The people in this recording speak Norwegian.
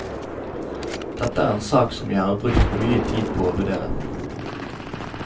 Dette er en sak som jeg har brukt mye tid på å vurdere.